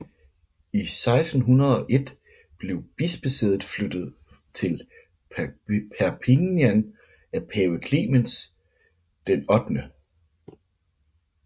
I 1601 blev bispesædet flyttet til Perpignan af pave Clemens VIII